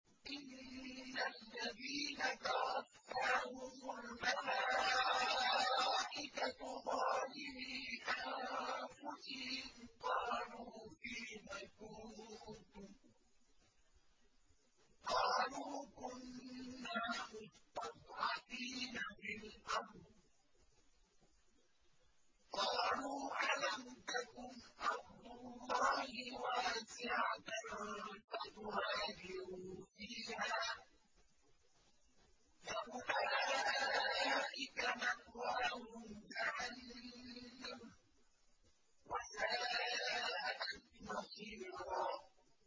إِنَّ الَّذِينَ تَوَفَّاهُمُ الْمَلَائِكَةُ ظَالِمِي أَنفُسِهِمْ قَالُوا فِيمَ كُنتُمْ ۖ قَالُوا كُنَّا مُسْتَضْعَفِينَ فِي الْأَرْضِ ۚ قَالُوا أَلَمْ تَكُنْ أَرْضُ اللَّهِ وَاسِعَةً فَتُهَاجِرُوا فِيهَا ۚ فَأُولَٰئِكَ مَأْوَاهُمْ جَهَنَّمُ ۖ وَسَاءَتْ مَصِيرًا